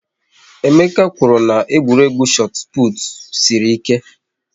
Emeka kwụrụ na egwuregwu chot put sịrị ike